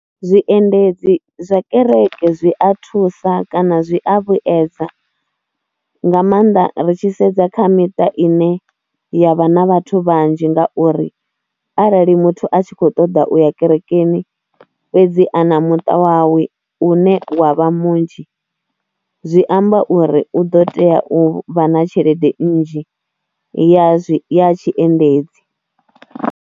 Zwiendedzi zwa kereke zwi a thusa kana zwi a vhuedza nga maanḓa ri tshi sedza kha miṱa ine ya vha na vhathu vhanzhi ngauri arali muthu a tshi khou ṱoḓa u u ya kerekeni fhedzi a na muṱa wawe une wa vha munzhi zwi amba uri u ḓo tea u vha na tshelede nnzhi ya zwi, ya tshiendedzi.